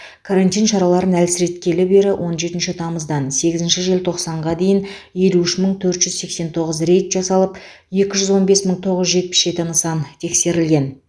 карантин шараларын әлсіреткелі бері он жетінші тамыздан сегізінші желтоқсанға дейін елу үш мың төрт жүз сексен тоғыз рейд жасалып екі жүз он бес мың тоғыз жүз жетпіс жеті нысан тексерілген